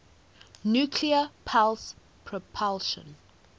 nuclear pulse propulsion